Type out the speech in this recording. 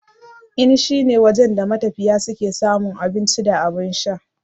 Inn shine wajen da matafiya suke samun abun ci da abun sha.